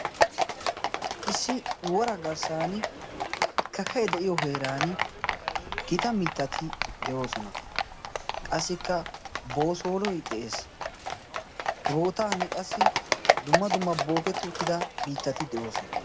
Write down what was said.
issi wora garssan kakkae de'iyo heeran giita mittati de'oosona. qassikka boosooloy de'ees. he bootan qassi dumma dumma booketti uttida miittati de'oosona.